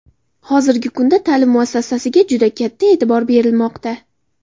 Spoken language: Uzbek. Hozirgi kunda ta’lim muassasasiga juda katta e’tibor berilmoqda.